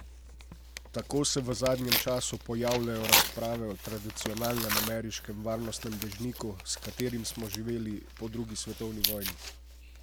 Tako se v zadnjem času pojavljajo razprave o tradicionalnem ameriškem varnostnem dežniku, s katerim smo živeli po drugi svetovni vojni.